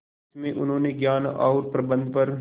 इसमें उन्होंने ज्ञान और प्रबंधन पर